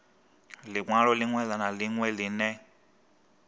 linwalo linwe na linwe line